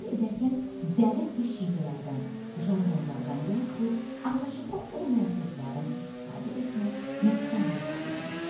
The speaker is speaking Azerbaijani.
Təsvir edərkən dialekt və şivələrdən, jarqonlardan yaxud anlaşılıqlı olmayan sözlərdən istifadə etmək nöqsan hesab edilir.